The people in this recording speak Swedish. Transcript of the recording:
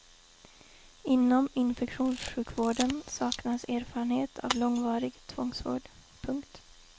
Inom infektionssjukvården saknas erfarenhet av långvarig tvångsvård. punkt